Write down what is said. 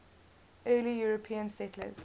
early european settlers